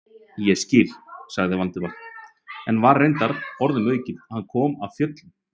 Ég skil- sagði Valdimar, sem var reyndar orðum aukið, hann kom af fjöllum.